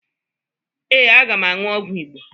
Ee, aga m aṅụ ọgwụ Igbo